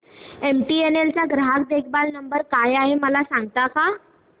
MTNL चा ग्राहक देखभाल नंबर काय आहे मला सांगता का